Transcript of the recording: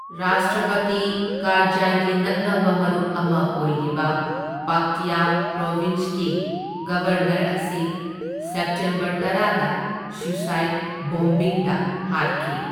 ꯔꯥꯁꯇ꯭ꯔꯄꯇꯤ ꯀꯥꯔꯖꯥꯏꯒꯤ ꯅꯛꯅꯕ ꯃꯔꯨꯞ ꯑꯃ ꯑꯣꯏꯔꯤꯕ ꯄꯛꯇ꯭ꯌ ꯄ꯭ꯔꯣꯕꯤꯟꯁꯀꯤ ꯒꯕꯔꯅꯔ ꯑꯁꯤ ꯁꯦꯞꯇꯦꯝꯕꯔ ꯇꯔꯥꯗ ꯁ꯭ꯌꯨꯁꯥꯢ꯭ꯠ ꯕꯣꯝꯕꯤꯡꯗ ꯍꯥꯠꯈꯤ꯫